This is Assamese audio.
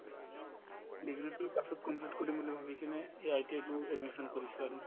degree তো পাছত complete কৰিম বুলি ভাবি কিনে এই ITI তো admission কৰিছো আৰু